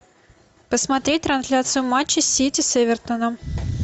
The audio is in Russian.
посмотреть трансляцию матча сити с эвертоном